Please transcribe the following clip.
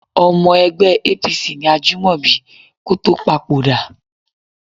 Ọmọ ẹgbẹ́ APC ni Ajúmọ̀bí kó tó papòdà